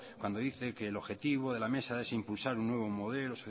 cuando dice que el objetivo de la mesa es impulsar un nuevo modelo